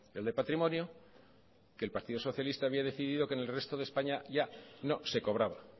el de patrimonio que el partido socialista había decidido que en el resto de españa ya no se cobraba